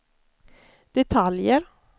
detaljer